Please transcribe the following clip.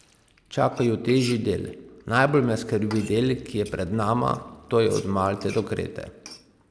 Čaka ju težji del: "Najbolj me skrbi del, ki je pred nama, to je od Malte do Krete.